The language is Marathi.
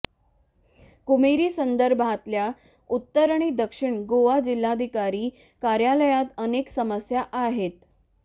कुमेरी संदर्भातल्या उत्तर आणि दक्षिण गोवा जिल्हाधिकारी कार्यालयात अनेक समस्या आहेत